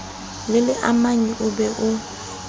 le leamanyi o be o